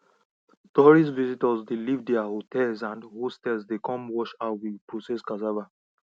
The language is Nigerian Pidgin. tourist visitors dey leave their hotels and hostel dey come watch how we process cassava